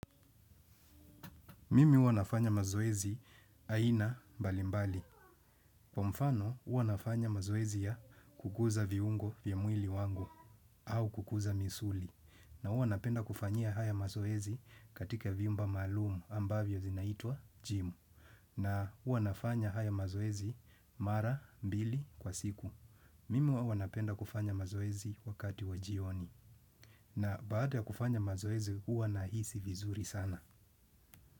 Mimi huwa nafanya mazoezi aina mbalimbali. Kwa mfano, huwa nafanya mazoezi ya kukuza viungo viamwili wangu au kukuza misuli. Na huwa napenda kufanyia haya mazoezi katika viumba malumu ambavyo zinaitwa jimu. Na huwa nafanya haya mazoezi mara mbili kwa siku. Mimi huwa napenda kufanya mazoezi wakati wa jioni. Na baada ya kufanya mazoezi, uanahisi vizuri sana.